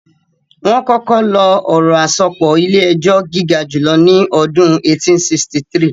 Wọ́n kọ́kọ́ lo ọ̀rọ̀ àsopọ̀ ilé-ẹjọ́ gígajùlọ ní ọdún 1863